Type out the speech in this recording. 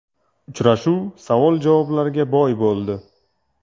Uchrashuv savol-javoblarga boy bo‘ldi.